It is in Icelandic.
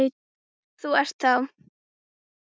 Þú ert þá?